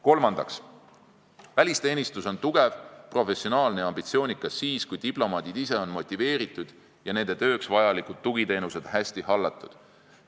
Kolmandaks, välisteenistus on tugev, professionaalne ja ambitsioonikas siis, kui diplomaadid ise on motiveeritud ja nende tööks vajalikud tugiteenused hästi hallatud.